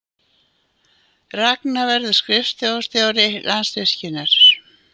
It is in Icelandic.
Ragna verður skrifstofustjóri Landsvirkjunar